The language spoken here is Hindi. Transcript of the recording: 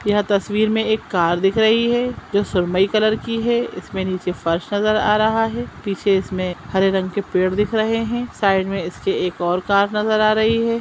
यह तस्वीर में एक कार दिख रही है जो सुरमई कलर की है इसमें नीचे फर्श नजर आ रहा है पीछे इसमें हरे रंग के पेड़ दिख रहें हैं साइड में इसके एक और कार नजर आ रही है।